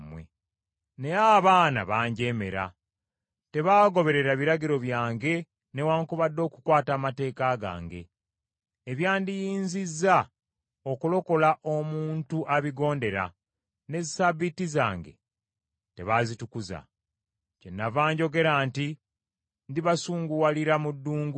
“ ‘Naye abaana banjeemera; tebaagoberera biragiro byange newaakubadde okukwata amateeka gange, ebyandiyinzizza okulokola omuntu abigondera, ne Ssabbiiti zange ne batazitukuza. Kyenava njogera nti ndibasunguwalira mu ddungu.